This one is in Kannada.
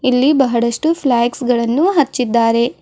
ಇಲ್ಲಿ ಬಹಳಷ್ಟು ಫ್ಲ್ಯಾಗ್ಸ್ ಗಳನ್ನು ಹಚ್ಚಿದ್ದಾರೆ.